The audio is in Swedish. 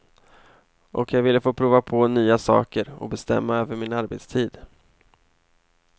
Och jag ville få prova på nya saker och bestämma över min arbetstid.